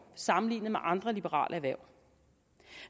sammenlignet med andre liberale erhverv